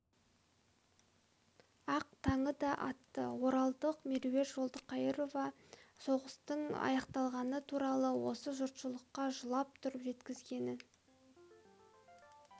ақ таңы да атты оралдық меруерт жолдықайырова соғыстың аяқталғаны туралы осы жұртшылыққа жылап тұрып жеткізгенін